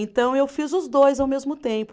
Então eu fiz os dois ao mesmo tempo.